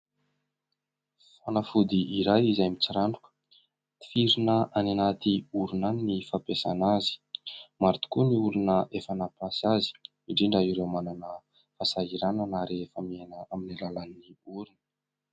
Fanafody iray izay mitsiranoka, tifirina any anaty orona any ny fampiasana azy. Maro tokoa ny olona efa nampiasa azy, indrindra ireo manana fahasahiranana rehefa miaina amin'ny alalàn'ny orona.